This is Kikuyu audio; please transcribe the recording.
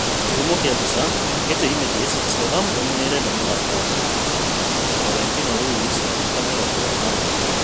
Kĩhumo kĩa mbica, Getty Images Southampton nĩĩrenda mũthaki wa Benfica Florentino Luis wa mĩaka mĩrongo ĩĩrĩ na ũmwe